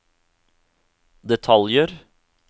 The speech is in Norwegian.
detaljer